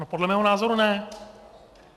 No, podle mého názor ne.